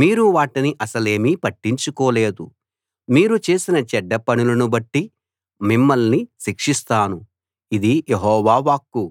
మీరు వాటిని అసలేమీ పట్టించుకోలేదు మీరు చేసిన చెడ్డ పనులను బట్టి మిమ్మల్ని శిక్షిస్తాను ఇది యెహోవా వాక్కు